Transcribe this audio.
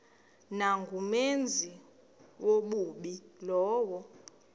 nangumenzi wobubi lowo